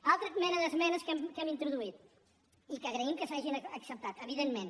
una altra mena d’esmenes que hem introduït i que agraïm que s’hagin acceptat evidentment